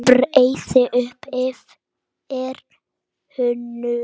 Breiði upp yfir haus.